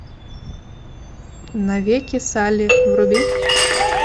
навеки салли вруби